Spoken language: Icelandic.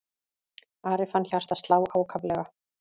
Ari fann hjartað slá ákaflega.